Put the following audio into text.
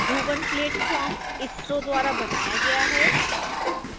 bhuvan platform isro द्वारा बनाया गया था